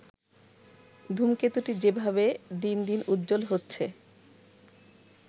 ধূমকেতুটি যেভাবে দিনদিন উজ্জ্বল হচ্ছে